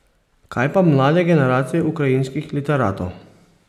Kaj pa mlade generacije ukrajinskih literatov?